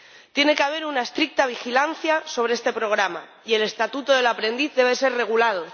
Tiene que haber una estricta vigilancia sobre este programa y el estatuto del aprendiz debe ser regulado.